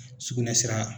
Sugunɛ sira